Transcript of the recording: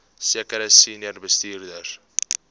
sekere senior bestuurders